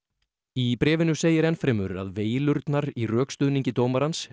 í bréfinu segir enn fremur að veilurnar í rökstuðningi dómarans